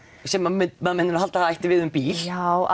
sem maður myndi nú halda að ætti við um bíl já